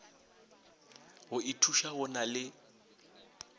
go ithuša go na le